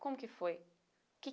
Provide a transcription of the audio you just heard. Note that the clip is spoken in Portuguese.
Como que foi? Que